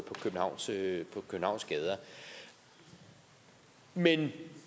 københavns gader men